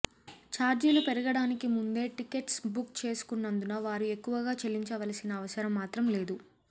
ఛార్జీలు పెరగడానికి ముందే టిక్కెట్స్ బుక్ చేసుకున్నందున వారు ఎక్కువగా చెల్లించవలసిన అవసరం మాత్రం లేదు